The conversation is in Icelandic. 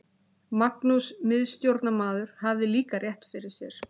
Magnús miðstjórnarmaður hafði líka rétt fyrir sér.